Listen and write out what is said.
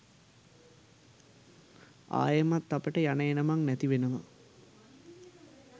ආයෙමත් අපිට යන එනමං නැතිවෙනවා.